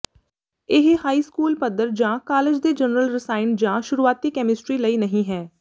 ਇਹ high school ਪੱਧਰ ਜਾਂ ਕਾਲਜ ਦੇ ਜਨਰਲ ਰਸਾਇਣ ਜਾਂ ਸ਼ੁਰੂਆਤੀ ਕੈਮਿਸਟਰੀ ਲਈ ਨਹੀਂ ਹੈ